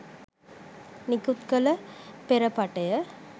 නිකුත් කළ පෙරපටය